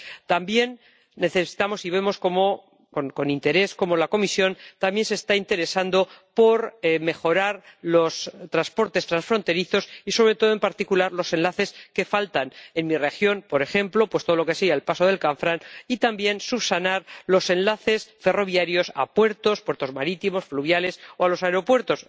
También necesitamos, y vemos, con interés, cómo la Comisión también se está interesando por mejorarlos, mejorar los transportes transfronterizos y, sobre todo, en particular, los enlaces que faltan en mi región —por ejemplo, todo lo relacionado con el paso del Canfranc—, y también subsanar los enlaces ferroviarios a puertos marítimos, fluviales o a los aeropuertos.